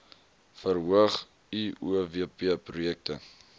verhoog uowp projekte